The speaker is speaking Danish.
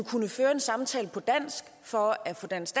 kunne føre en samtale på dansk for at få dansk